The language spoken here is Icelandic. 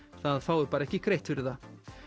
það fái bara ekki greitt fyrir það